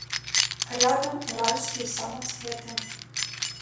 рядом уральские самоцветы